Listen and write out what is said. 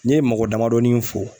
Ni ye mɔgɔ damadɔnin fɔ